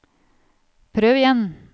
prøv igjen